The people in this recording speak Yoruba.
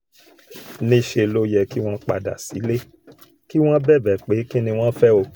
níṣẹ́ ló yẹ kí wọ́n padà sílé kí wọ́n bẹ̀bẹ̀ pé kín ni wọ́n fẹ́ o